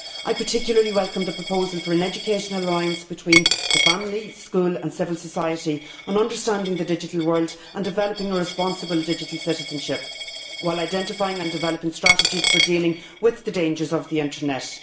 I particularly welcome the proposal for an educational alliance between the family, school and civil society in understanding the digital world and developing a responsible digital citizenship while identifying and developing strategies for dealing with the dangers of the internet.